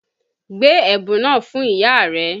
Gbé ẹ̀bùn náà fún ìyá rẹ!